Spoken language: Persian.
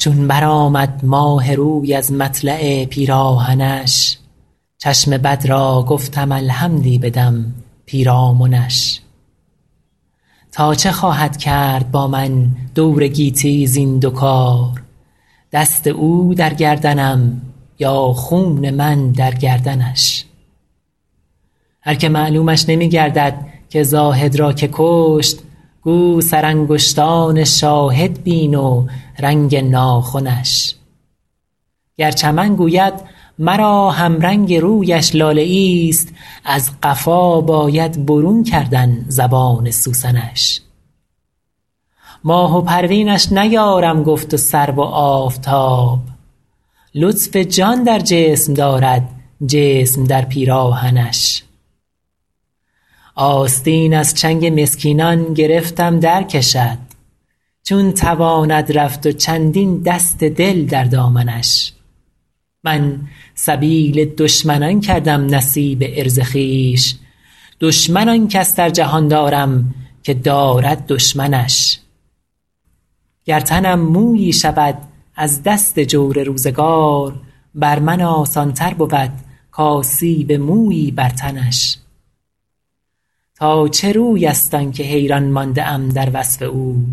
چون برآمد ماه روی از مطلع پیراهنش چشم بد را گفتم الحمدی بدم پیرامنش تا چه خواهد کرد با من دور گیتی زین دو کار دست او در گردنم یا خون من در گردنش هر که معلومش نمی گردد که زاهد را که کشت گو سرانگشتان شاهد بین و رنگ ناخنش گر چمن گوید مرا همرنگ رویش لاله ایست از قفا باید برون کردن زبان سوسنش ماه و پروینش نیارم گفت و سرو و آفتاب لطف جان در جسم دارد جسم در پیراهنش آستین از چنگ مسکینان گرفتم درکشد چون تواند رفت و چندین دست دل در دامنش من سبیل دشمنان کردم نصیب عرض خویش دشمن آن کس در جهان دارم که دارد دشمنش گر تنم مویی شود از دست جور روزگار بر من آسان تر بود کآسیب مویی بر تنش تا چه روی است آن که حیران مانده ام در وصف او